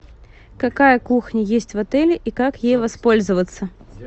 какая кухня есть в отеле и как ей воспользоваться